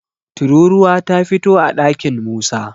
tururuwa ta fito a ɗakin Musa